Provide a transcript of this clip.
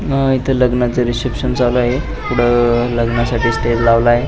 लग्नाचे रीसेप्शन चालू आहे पुढ लग्न साठी स्टेज लावला आहे.